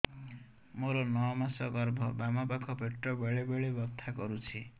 ମୋର ନଅ ମାସ ଗର୍ଭ ବାମ ପାଖ ପେଟ ବେଳେ ବେଳେ ବଥା କରୁଛି